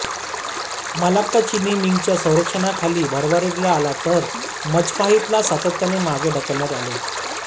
Malacca चिनी मिंगच्या संरक्षणाखाली भरभराटीला आला तर मजपाहितला सातत्याने मागे ढकलण्यात आले